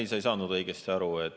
Ei, sa ei saanud õigesti aru.